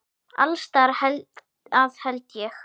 Alls staðar að held ég.